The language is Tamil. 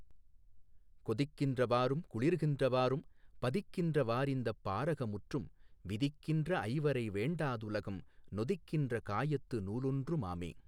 கொதிக்கின்ற வாறும் குளிர்கின்ற வாறும் பதிக்கின்ற வாறிந்தப் பாரக முற்றும் விதிக்கின்ற ஐவரை வேண்டா துலகம் நொதிக்கின்ற காயத்து நூலொன்று மாமே.